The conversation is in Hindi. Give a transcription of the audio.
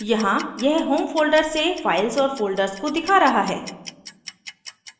यहाँ यह home folders से files और folders को दिखा रहा है